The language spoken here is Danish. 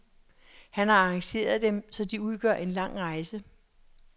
Han har arrangeret dem, så de udgør en lang rejse.